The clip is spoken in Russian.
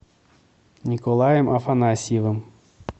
николаем афанасьевым